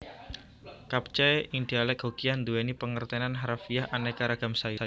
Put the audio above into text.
Capcay ing dialek Hokkian duweni pangertenan harafiah aneka ragam sayur